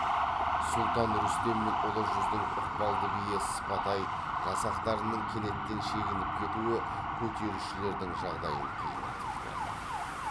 сұлтан рүстем мен ұлы жүздің ықпалды биі сыпатай жасақтарының кенеттен шегініп кетуі көтерілісшілердің жағдайын қиындатып жіберді